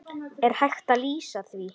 Er hægt að lýsa því?